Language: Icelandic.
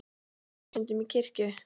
Ferðu stundum í kirkju?